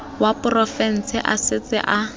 wa porofense a setse a